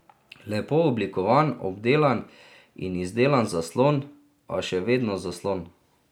Lepo oblikovan, obdelan in izdelan zaslon, a še vedno zaslon.